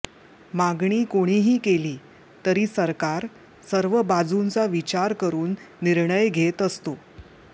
मागणी कोणीही केली तरी सरकार सर्व बाजूंचा विचार करुन निर्णय घेत असते